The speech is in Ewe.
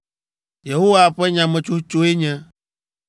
Yehowa ƒe nyametsotsoe nye: